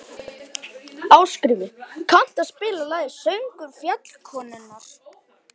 Ásgrímur, kanntu að spila lagið „Söngur fjallkonunnar“?